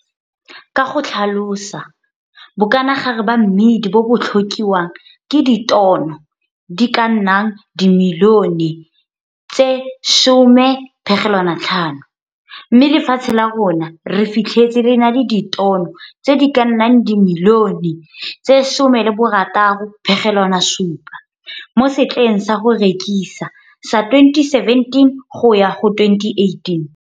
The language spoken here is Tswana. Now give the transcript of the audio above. Ka go tlhalosa, bokanagare ba mmidi bo bo tlhokiwang ke ditono tse di ka nnang dimilione tse 10,5, mme lefatshe la rona re fitlhese le na le ditono tse di ka nnang dimilione tse 16,7 mo setleng sa go rekisa sa 2017-2018.